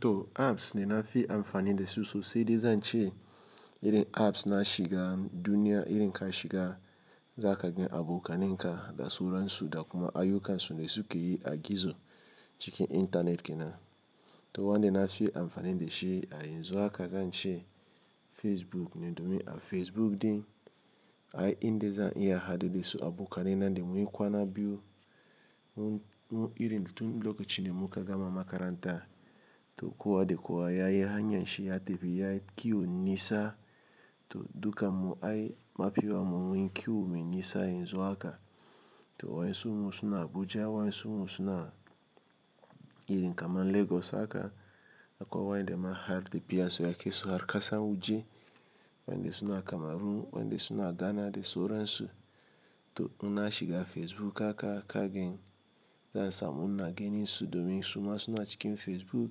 To apps da na fi amfani da su sosai dai zan ce irin apps na shiga duniya, irin ka shiga za ka gan abokanan ka da sauran su da kuma ayyukan su da suke yi a gizo, cikin intanet kenan. To wanda na fi amfani da shi a yanzu haka zan ce Facebook ne domin a Facebook ɗin, ai inde zan iya hadu da su abokanai na da mun yi kwana biyu, mun, mun, irin tun lokacin da muka gama makaranta. To kwa da kowa yayi hanyan shi ya tafi yayi ƙiyon nisa, to dukan mu ai mafi yawan mu mun yi ƙiyo mai nisa yanzu haka. To wayansun mu suna Abuja, wayansun mu suna irin kamar Lagos haka, akwai wayanda ma har tafiyan su yakai su har kasan waje. Wanda suna Kamaru, wanda suna Ghana da soran su. To in na shiga Facebook haka, ka gan zan samu na ganin su domin su ma suna cikin Facebook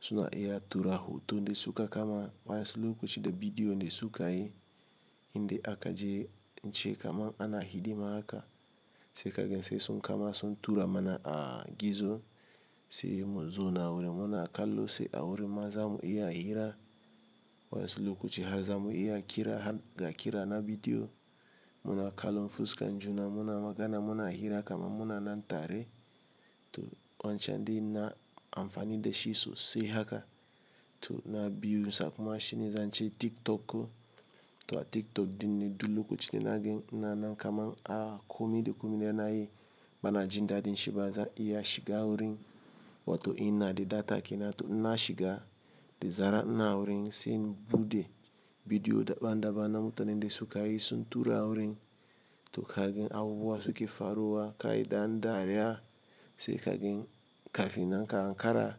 suna iya tura hoto da su ka kama, wayansu lokaci da bidiyo da su ka yi. Inde aka je, in ce kaman ana hidima haka sai ka gan sai sun kama sun tura mana a gizo, sai mu zauna wurin mu na kallo, sai a wurin ma za mu iya hira wayansu lokaci har za mu iya kira, har ga kira na bidiyo. Mu na kallon fuskan junan muna magana mu na hira kaman muna nan tare. To wancan ɗin ina amfani da shi sosai haka. To na biyu sai kuma shi ne zan ce shine TikTok. To a TikTok ɗin ne duk lokacin da nagan ina nan kaman komi da komi da yana yi, bana jin daɗin shi ba zan iya shiga wurin. Wato in na da data kenan to in na shiga, da zaran ina wurin sai in buɗe bidiyo daban daban na mutanen da su ka yi sun tura wurin. To ka gan abubuwa su ke faruwa, ka yi ɗan dariya sai ka gan kafin nan ka ankara,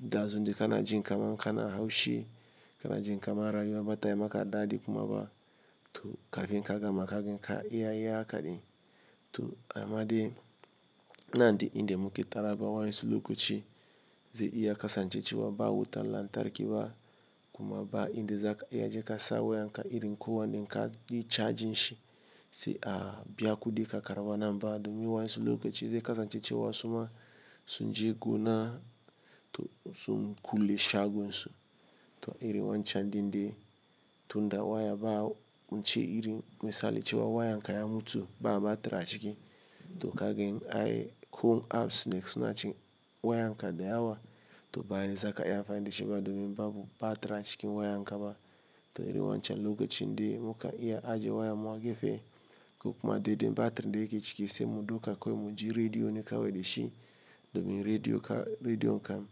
dazun da kana jin kaman kana haushi, kana jin kaman rayuwa bata yi maka daɗi kuma ba, to kafin ka gama ka gan ka iya yi haka ɗin. To amma dai ina da inda muke taruwa amna wayansu lokaci zai iya kasance cewa ba wutan lantarki ba kuma ba inde za ka iya jika sa wayanka irin ko wanda in ka yi charging shi, sai a biya kuɗi ka karɓa nan ba domin wayansu lokaci zai kasance cewa su ma sun je gona, to sun kule shagon su. To irin wancan ɗin dai. Tunda waya ba-- mun ce iri misali cewa wayan ka ya mutu, ba batir a ciki, to ka gan ai ko apps da suna cikin wayan ka da yawa to ba yanzu zaka iya amfani da shi ba domin babu batir a cikin wayan ka ba. To iri wancan lokacin dai mukan iya ajiye wayan mu a gefe ko kuma dai da batir da yake ciki sai mu dauka kawai mu ji-- rediyo ne kawai da shi domin rediyo ka rediyon kan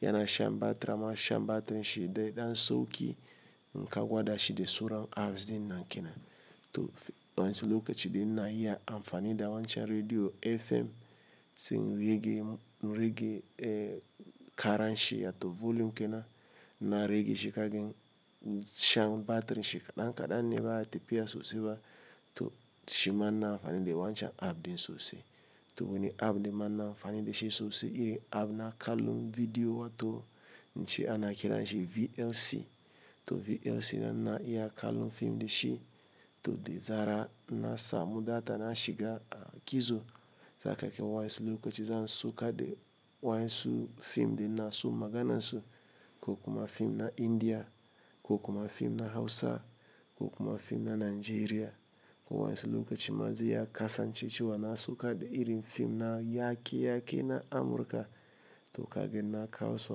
yana shan batira amma shan batirin shi dai ɗan sauki in ka gwada shi da sauran apps ɗin nan kenan. To wayansu lokacin dai ina iya amfani da wancan rediyo FM sai in rage, rage karan shi wato volume kenan, in na rage shi ka gan shan batirin shi kaɗan kaɗan ne ba ya tafiya sosai ba to shi ma ina amfani da wancan app ɗin sosai. To wani app da ma ina amfani da shi sosai iri app na kallon bidiyo wato in ce ana kiranshi VLC. To VLC na ina iya kallon fim da shi to da zara na samu data na shiga gizo. Zakaga wayansu lokaci zan saukar da wayansu fim ɗin ina so magana su, ko kuma fim na India, ko kuma fim na Hausa, ko kuma fim na Najeriya ko wayansu lokaci ma zai iya kasancewa na saukar da irin fim na yake-yake na Amurka to ka gan na kawo su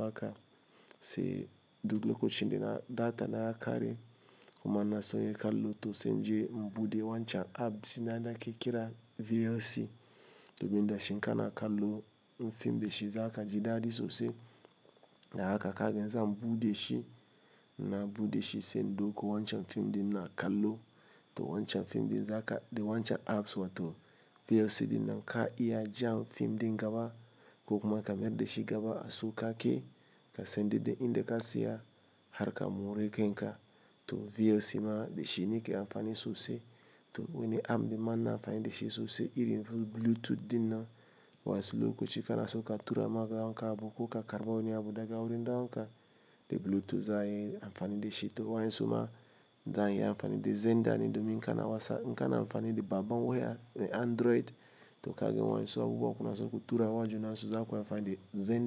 haka sai duk lokacin da na-- data na ya kare, kuma ina so inia kallo, to sai in je in buɗe wancan app da nake kira VLC. Domin da shi in kana kallo na fim da shi zaka ji daɗi sosai. Da haka ka gan zan buɗe shi, na buɗe shi sai na dauko wancan fim ɗin ina kallo. To wancan fim ɗin zaka, da wancan apps wato VLC ɗin nan ka iya jan fim ɗin gaba, ko kuma ka mayar da shi gaba a sauƙaƙe sai dai dai indea ka tsaya har ka more kan ka. To VLC ma da shi ni ke amfani sosai. To wani app ɗin ma ina amfani da shi sosai irin su Bluetooth ɗin nan wayansu lokaci kana so ka tura ma dan uwanka abu ko ka karɓa wani abu daga wurin ɗan uwanka, da Bluetooth za a yin amfani da shi. To wayansu ma za'a iya amfani da Xendr ne domin in kana wasa, in kana amfani da babbar waya, da Android, to ka gan wayansu abubuwa kuna so ku tura ma juna so zaku yi amfani da Xenda.